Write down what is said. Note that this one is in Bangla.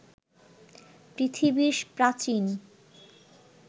পৃথিবীর প্রাচীন